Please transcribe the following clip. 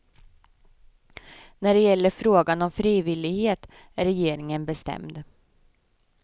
När det gäller frågan om frivillighet är regeringen bestämd.